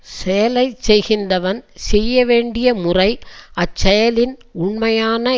செயலை செய்கின்றவன் செய்ய வேண்டிய முறை அச் செயலின் உண்மையான